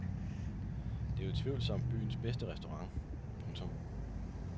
Det er utvivlsomt byens bedste restaurant. punktum